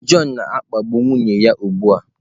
John na-akpagbu nwunye ya ugbu a!